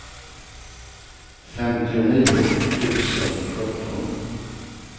femtionio tusen sjutton